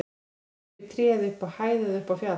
Klifraðu upp í tré eða upp á hæð eða upp á fjall.